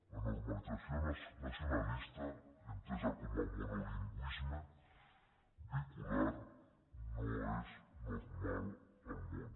la normalització nacionalista entesa com a monolingüisme vehicular no és normal al món